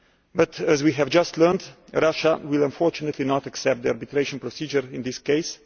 But as we have just learned, Russia will, unfortunately, not accept the arbitration procedure in this case.